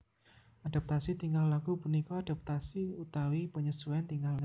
Adaptasi tingkah laku punika adapatasi uatawi penyesuaian tingkah laku